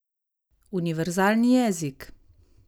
Univerzalni jezik!